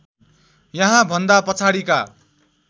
यहाँ भन्दा पछाडिका